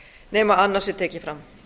nema annað sé tekið fram